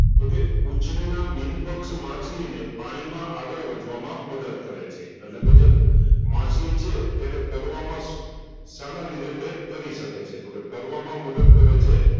તોકે ઉછરેલા મીનપક્ષ માછલીને પાણીમાં આગળ વધવામાં મદદ કરે છે અટલેકે જે માછલી છે તેને તરવામાં સાના લીધે તે તરી સકે છે તોકે તરવામાં મદદ કરે છે.